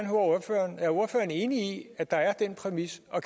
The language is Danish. enig i at der er den præmis og